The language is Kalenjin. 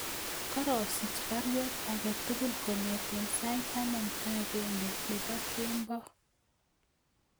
Karosich baruet agetugul kongeten sait taman ak agenge nebo kembo